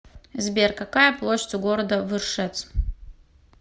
сбер какая площадь у города выршец